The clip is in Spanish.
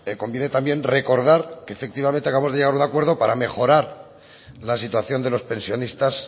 conviene también recordar que efectivamente acabamos de llegar a un acuerdo para mejorar la situación de los pensionistas